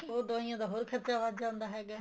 ਉਹ ਫ਼ੇਰ ਦਵਾਈਆਂ ਦਾ ਹੋਰ ਖਰਚਾ ਵੱਧ ਜਾਂਦਾ ਹੈਗਾ